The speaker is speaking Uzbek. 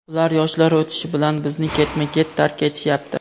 Ular yoshlari o‘tishi bilan bizni ketma-ket tark etishyapti.